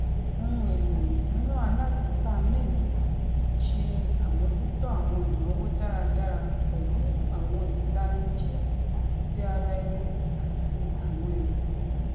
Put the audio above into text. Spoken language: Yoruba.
ohun elo isuna alagbeka mint ṣe àmójútó awọn inawo dáradára pẹlu awọn itaniji ti ara ẹni ati awọn ere